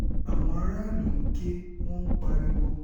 àwọn aráàlú ń ké wọn ń ń pariwo